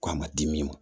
Ko a ma di min ma